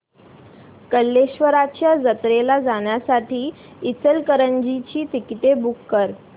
कल्लेश्वराच्या जत्रेला जाण्यासाठी इचलकरंजी ची तिकिटे बुक कर